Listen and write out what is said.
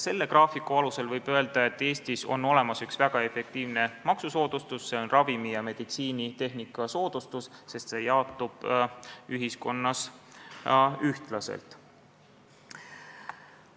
Selle graafiku alusel võib öelda, et Eestis on olemas üks väga efektiivne maksusoodustus, see on ravimi- ja meditsiinitehnika soodustus, sest see jaotub ühiskonnas ühtlaselt.